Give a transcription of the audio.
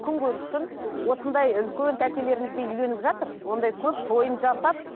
күнкөріс үшін осындай үлкен тәтелерімізге үйленіп жатыр ондай көп тойын жасап